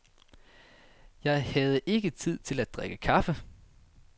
Jeg havde ikke tid til at drikke kaffe.